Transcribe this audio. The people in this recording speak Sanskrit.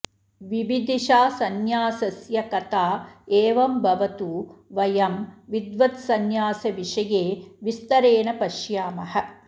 विविदिषासंन्यासस्य कथा एवं भवतु वयं विद्वद्संन्यासविषये विस्तरेण पश्यामः